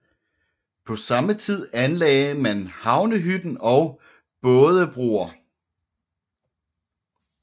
På samme tid anlagde man Havnehytten og bådebroer